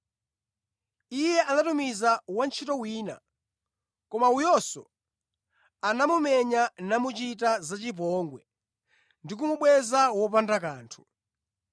Iye anatumiza wantchito wina, koma uyunso anamumenya namuchita zachipongwe ndi kumubweza wopanda kanthu.